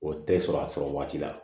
O tɛ sɔrɔ a sɔrɔ waati la